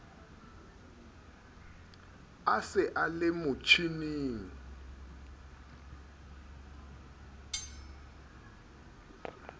a se a le motjhining